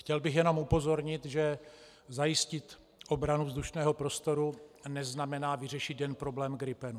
Chtěl bych jenom upozornit, že zajistit obranu vzdušného prostoru neznamená vyřešit jen problém gripenů.